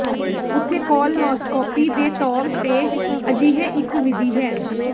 ਉੱਥੇ ਕੋਲਨੋਸਕੋਪੀ ਦੇ ਤੌਰ ਤੇ ਅਜਿਹੇ ਇੱਕ ਵਿਧੀ ਹੈ